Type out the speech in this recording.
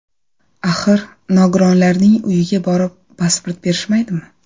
Axir, nogironlarning uyiga borib pasport berishmaydimi?